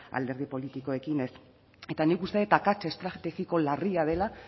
alderdi politikoekin ez eta nik uste dut akats estrategiko larria dela